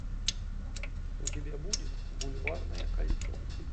у тебя будет бульварное кольцо